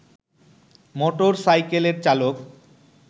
মোটরসাইকেলের চালক